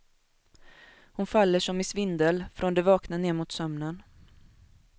Hon faller som i svindel, från det vakna ned mot sömnen.